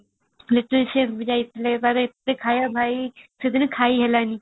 ବି ଯାଇଥିଲେ ତାର ଏତେ ଖାଇବା ଭାଇ ସେଦିନ ଖାଇ ହେଲାନି |